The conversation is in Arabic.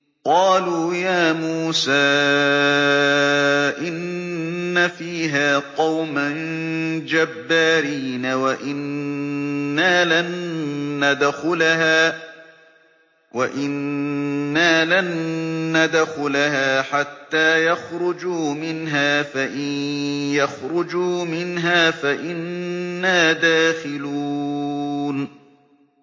قَالُوا يَا مُوسَىٰ إِنَّ فِيهَا قَوْمًا جَبَّارِينَ وَإِنَّا لَن نَّدْخُلَهَا حَتَّىٰ يَخْرُجُوا مِنْهَا فَإِن يَخْرُجُوا مِنْهَا فَإِنَّا دَاخِلُونَ